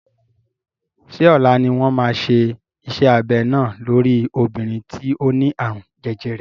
Ṣé ọ̀la ni wọ́n máa ṣe iṣẹ́ abẹ náà lórí obìnrin tí ó ní àrùn jẹjẹrẹ?